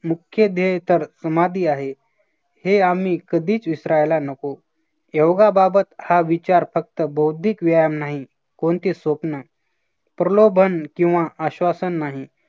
मुख्य देह तर समाधी आहे. हे आम्ही कधीच विसरायला नको. योगाबाबत हा विचार फक्त बौद्धिक व्यायाम नाही कोणती स्वप्न प्रलोभन किंवा आश्वासन नाही.